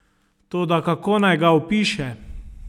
Toda kako naj ga opiše?